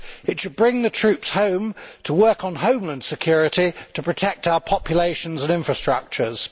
It should bring the troops home to work on homeland security to protect our populations and infrastructures.